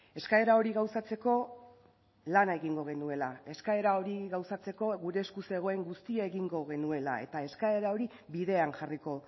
eskaera hori gauzatzeko lana egingo genuela eskaera hori gauzatzeko gure esku zegoen guztia egingo genuela eta eskaera hori bidean jarriko